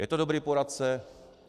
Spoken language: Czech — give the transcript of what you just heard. Je to dobrý poradce?